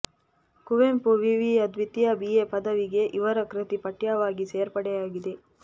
ಕುವೆಂಪು ವಿವಿಯ ದ್ವಿತೀಯ ಬಿಎ ಪದವಿಗೆ ಇವರ ಕೃತಿ ಪಠ್ಯವಾಗಿ ಸೇರ್ಪಡೆಯಾಗಿದೆ